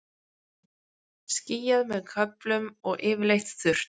Skýjað með köflum og yfirleitt þurrt